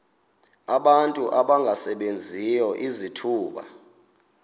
abantu abangasebenziyo izithuba